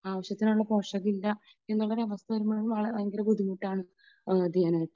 ആവശ്യത്തിനുള്ള പോഷകം ഇല്ല അങ്ങനെ ഒരു അവസ്ഥ വരുമ്പോഴും അത് ഭയങ്കര ബുദ്ധിമുട്ടാണ് ഇത് ചെയ്യാനായിട്ട്